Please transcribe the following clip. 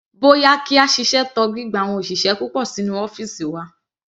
Bóyá kí a ṣiṣẹ́ tọ gbígba àwọn òṣìṣẹ́ púpọ̀ sínú ọ́fìsì wa.